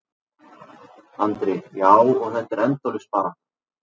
Andri: Já, og þetta er endalaus barátta?